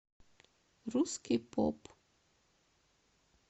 русский поп